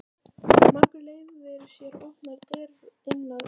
Margur leyfir sér opnar dyr inn að ganga.